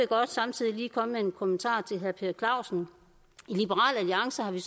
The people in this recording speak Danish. godt samtidig lige komme med en kommentar til herre per clausen i liberal alliance har vi